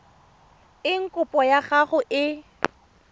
eng kopo ya gago e